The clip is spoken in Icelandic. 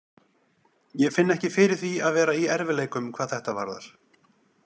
Ég finn ekki fyrir því að vera í erfiðleikum hvað þetta varðar.